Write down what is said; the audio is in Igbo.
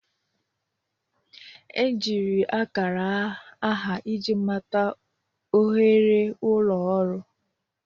Ejiri akara aha iji mata ohere ulo ọrụ.